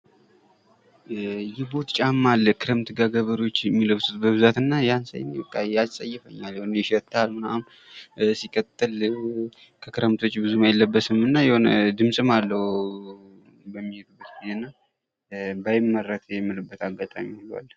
የቦት ጫማ አለ ክረምት ጋ ገበሬዎች የሚለብሱት በብዛት እና ያን ሳይ ያፀይፈኛል ይሸታል ምናምን ሲቀጥል ከክረምት ውጭ ብዙም አይለበስም እና የሆነ ድምፅም አለው በሚሔዱበት ግዜ እና በአይመረት የምልበት አጋጣሚ ሁሉ አለ።